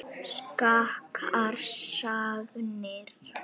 Skakkar sagnir.